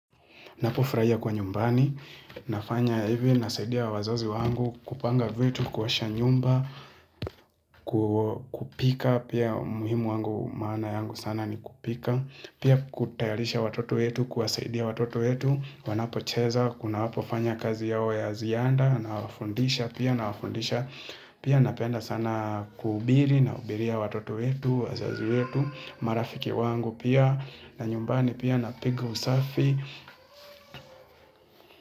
Napofurahia kwa nyumbani, nafanya hivi, nasaidia wazazi wangu kupanga vitu, kuosha nyumba, kupika, pia muhimu wangu maana yangu sana ni kupika, pia kutayarisha watoto wetu, kuwasaidia watoto wetu, wanapo cheza, kuna wapo fanya kazi yao ya zianda, na wafundisha pia, na wafundisha, pia napenda sana kuhubiri, nahubiria watoto wetu, wazazi wetu, marafiki wangu pia, na nyumbani pia, na piga usafi.